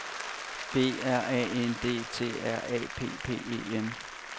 B R A N D T R A P P E N